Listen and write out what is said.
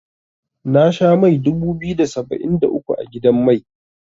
Na sha mai dubu biyu da saba'in da uku a gidan mai.